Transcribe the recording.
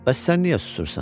Bəs sən niyə susursan?